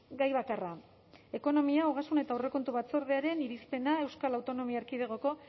gai bakarra ekonomia ogasun eta aurrekontu batzordearen irizpena euskal autonomia erkidegoko